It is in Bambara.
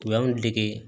U y'an dege